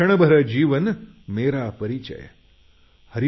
क्षणभर जीवन मेरा परिचय हरिवंशराय